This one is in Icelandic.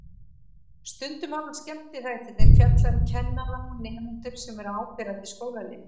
Stundum hafa skemmtiþættirnir fjallað um kennara og nemendur sem eru áberandi í skólalífinu.